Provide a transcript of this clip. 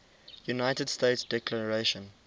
united states declaration